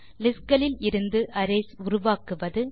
list களில் இருந்து arrays உருவாக்குவது